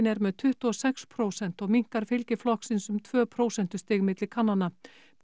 er með tuttugu og sex prósent og minnkar fylgi flokksins um tvö prósentustig milli kannana